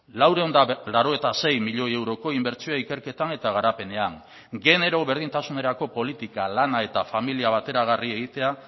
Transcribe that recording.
laurehun eta laurogeita sei milioi euroko inbertsioa ikerketan eta garapenean genero berdintasunerako politika lana eta familia bateragarri egitea